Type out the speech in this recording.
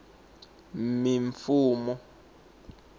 mimfumo